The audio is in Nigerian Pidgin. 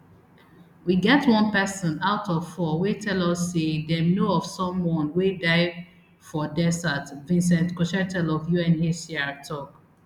we get one pesin out of four wey tell us say dem know of someone wey die for desert vincent cochetel of unhcr tok